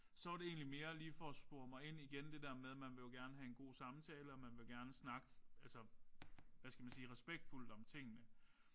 Så var det egentlig mere lige for at spore mig ind igen det der med man vil jo gerne have en god samtale og man vil jo gerne snakke altså hvad skal man sige respektfuldt om tingene